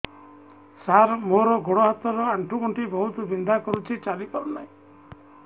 ସାର ମୋର ଗୋଡ ହାତ ର ଆଣ୍ଠୁ ଗଣ୍ଠି ବହୁତ ବିନ୍ଧା କରୁଛି ଚାଲି ପାରୁନାହିଁ